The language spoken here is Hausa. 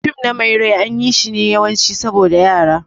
Fim na mai rai an yi shi ne yawanci saboda Yara.